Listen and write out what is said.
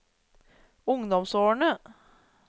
ungdomsårene